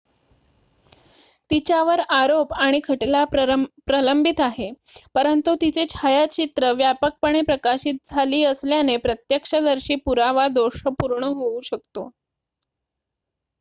तिच्यावर आरोप आणि खटला प्रलंबित आहे परंतु तिचे छायाचित्र व्यापकपणे प्रकाशित झाली असल्याने प्रत्यक्षदर्शी पुरावा दोषपूर्ण होऊ शकतो